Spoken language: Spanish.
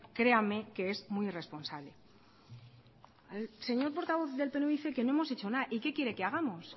créame que es muy irresponsable el señor portavoz del pnv dice que no hemos hecho nada y qué quiere que hagamos